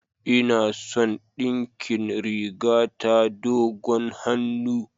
Ina son a dinkin rigata dogon hannu.